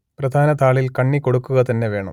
പ്രധാന താളിൽ കണ്ണി കൊടുക്കുക തന്നെ വേണം